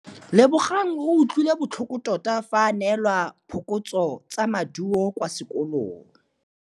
Lebogang o utlwile botlhoko tota fa a neelwa phokotsômaduô kwa sekolong.